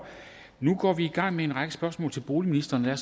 nu går vi i gang med en række spørgsmål til boligministeren og